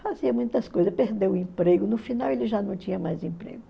Fazia muitas coisas, perdeu o emprego, no final ele já não tinha mais emprego.